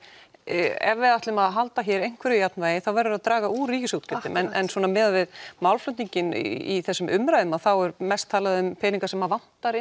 ef við ætlum að halda einhverju jafnvægi þá verður að draga úr ríkisútgjöldum en miðað við málflutninginn í þessum umræðum þá er mest talað um peninga sem vantar